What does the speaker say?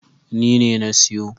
Ni ne na siyo.